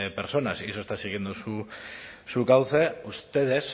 personas y eso está siguiendo su cauce ustedes